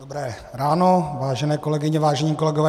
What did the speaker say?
Dobré ráno, vážené kolegyně, vážení kolegové.